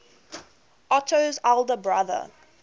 otto's elder brother